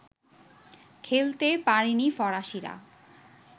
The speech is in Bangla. খেলতে পারেনি ফরাসীরা